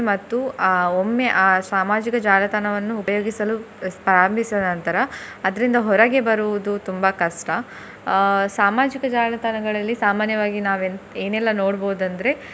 ಮತ್ತು ಅಹ್ ಒಮ್ಮೆ ಆ ಸಾಮಾಜಿಕ ಜಾಲತಾಣವನ್ನು ಉಪಯೋಗಿಸಲು ಪ್ರಾರಂಭಿಸಿದ ನಂತರ ಅದ್ರಿಂದ ಹೊರಗೆ ಬರುವುದು ತುಂಬಾ ಕಷ್ಟ ಅಹ್ ಸಾಮಾಜಿಕ ಜಾಲತಾಣಗಳಲ್ಲಿ ಸಾಮಾನ್ಯವಾಗಿ ನಾವ್ ಏನ್~ ಏನೆಲ್ಲಾ ನೋಡ್ಬಹುದಂದ್ರೆ.